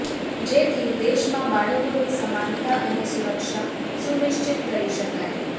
જેથી દેશમાં બાળકોની સમાનતા અને સુરક્ષા સુનિશ્ચિત કરી શકાય